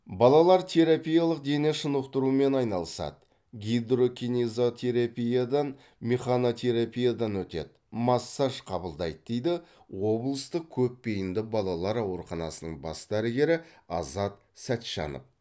балалар терапиялық дене шынықтырумен айналысады гидрокинезотерапиядан механотерапиядан өтеді массаж қабылдайды дейді облыстық көпбейінді балалар ауруханасының бас дәрігері азат сәтжанов